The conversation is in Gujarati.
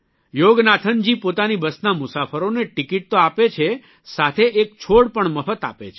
યોગનાથનજી પોતાની બસના મુસાફરોને ટીકીટ તો આપે છે સાથે એક છોડ પણ મફત આપે છે